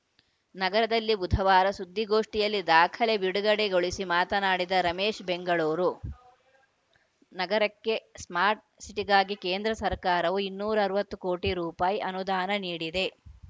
ನಗರದಲ್ಲಿ ಬುಧವಾರ ಸುದ್ದಿಗೋಷ್ಠಿಯಲ್ಲಿ ದಾಖಲೆ ಬಿಡುಗಡೆಗೊಳಿಸಿ ಮಾತನಾಡಿದ ರಮೇಶ್‌ ಬೆಂಗಳೂರು ನಗರಕ್ಕೆ ಸ್ಮಾರ್ಟ್‌ ಸಿಟಿಗಾಗಿ ಕೇಂದ್ರ ಸರ್ಕಾರವು ಇನ್ನೂರ ಅರವತ್ತು ಕೋಟಿ ರೂಪಾಯಿ ಅನುದಾನ ನೀಡಿದೆ